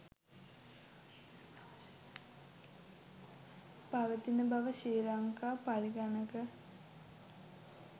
පවතින බව ශ්‍රී ලංකා පරිගණක